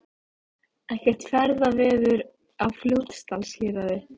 Ekkert ferðaveður á Fljótsdalshéraði